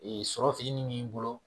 Ee sɔrɔ fitinin b'i bolo